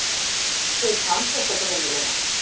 Þú kannt þetta greinilega.